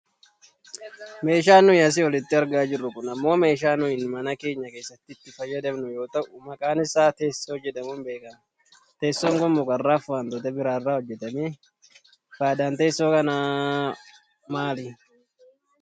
Meeshaan nuyi asii olitti argaa jirru kun ammoo meeshaa nuyi mana keenya keessatti itti fayyadamnu yoo ta'u maqaan isaa teessoo jedhamuun beekkama. Teessoon kun mukarraafi wantoota biraarraa hojjatame. Fayidaan teessoo kanaa maali?